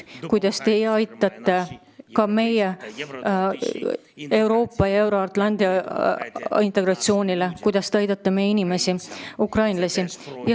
Olen tänulik selle eest, kuidas te aitate kaasa ka meie integreerumisele Euroopasse ja meie euroatlantilisele integratsioonile, selle eest, kuidas te aitate meie inimesi, ukrainlasi.